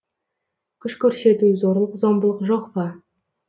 күш көрсету зорлық зомбылық жоқ па